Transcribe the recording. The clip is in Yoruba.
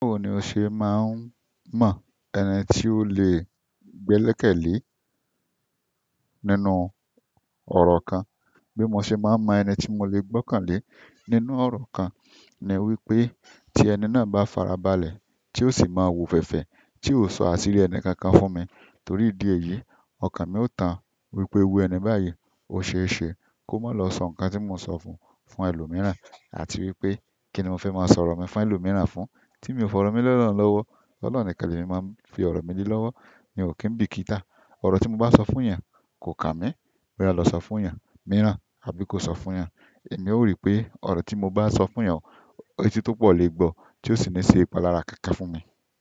Òun ni o ṣe máa ń mọ ẹni tí ó lè gbẹ́lẹ̀kẹ́lé nínú ọ̀rọ̀ kan. Bí mo ṣe máa ń mọ ẹni tí mo lè gbọ́kànlé nínú ọ̀rọ̀ kan, ni wípé tí ẹni náà bá farabalẹ̀ tí ó sì máa wòféèfé tí ó sọ àṣírí ẹni kankan fún mi. Torí ìdí èyí, ọkàn mi ó tàn wípé irú ẹni báyìí ó ṣe é ṣe kó má lọ sọ nǹkan tí mò ń sọ fún un fún ẹlòmíràn àti wípé kíni mo fẹ́ máa sọ ọ̀rọ̀ mi fún ẹlòmíràn fún. Tí mi ò fọ̀rọ̀ mi lẹ́ ọlọ́run lọ́wọ́, ọlọ́run nìkan lẹ̀ mi màá fi ọ̀rọ̀ mi lé lọ́wọ́. Mi ò kí ń bìkítà, ọ̀rọ̀ tí mo bá sọ fún èèyàn kò kà mí bóya a lọ sọ fún èèyàn mìíràn àbí kò sọ fún èèyàn. Èmi ó ríi pé ọ̀rọ̀ tí mo bá sọ fún èèyàn, etí tó pọ̀ lè gbọ́ tí ó sì le ṣe ìpalára kákan fún mi.